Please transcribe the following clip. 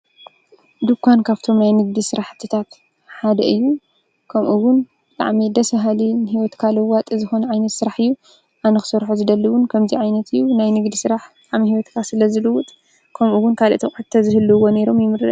ድኳን ካብቶም ናይ ንግዲ ስራሕትታት ሓደ እዩ። ከምኡ እውን ብጣዕሚ ደስ ባሃሊ እዩ ከም እውን ንሂወትካ ለዋጢ ዝኮነ ዓይነት ስራሕ እዩ። ኣነ ክሰርሖ ዝደሊ እውን ከምዝይ ዓይነት እዩ። ንግዲ ስራሕ ኣብ ሂወትካ ስለ ዝልውጥ ከምኡ እውን ካልኦት ኣቁሑት እንተዝህልዎ ይምረፅ።